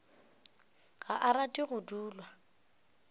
ga a rate go dulwa